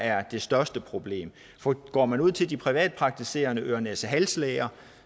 er det største problem for går man ud til de privatpraktiserende øre næse hals læger